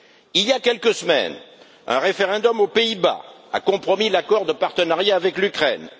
Il y a quelques semaines, un référendum aux Pays-Bas a compromis l'accord de partenariat avec l'Ukraine.